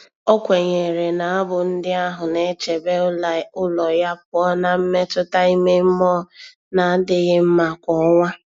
O kwenyere na abụ ndị ahụ na-echebe ụlọ ya pụọ na mmetụta ime mmụọ na-adịghị mma kwa ọnwa.